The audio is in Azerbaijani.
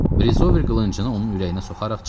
Brisover qılıncını onun ürəyinə soxaraq çığırdı: